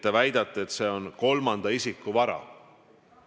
Te väidate, et see on kolmanda isiku vara.